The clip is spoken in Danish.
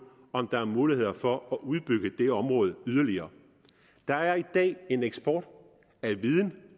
om der er muligheder for at udbygge det område yderligere der er i dag en eksport af viden